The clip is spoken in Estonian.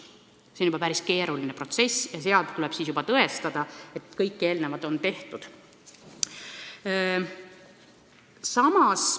See on juba päris keeruline protsess ja siis tuleb juba tõestada, et kõik eelnevad toimingud on tehtud.